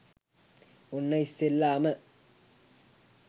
ඔන්න ඉස්සෙල්ලාම